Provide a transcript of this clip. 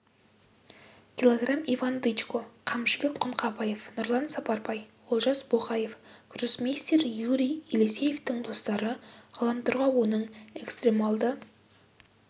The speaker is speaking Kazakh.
кг иван дычко қамшыбек құңқабаев нұрлан сапарбай олжас боқаев гроссмейстер юрий елисеевтің достары ғаламторға оның экстремалды